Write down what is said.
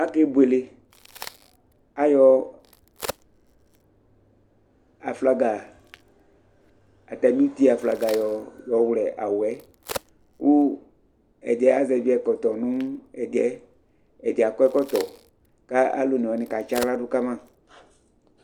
akɛ bʋɛlɛ, ayɔ aflaga, atani iti aƒlaga yɔ wlɛ awʋɛ kʋ ɛdi azɛvi ɛkɔtɔ nʋ ɛdiɛ, ɛdi akɔ ɛkɔtɔ kʋ alʋ ɔnɛ wani ka tsiala dʋ kama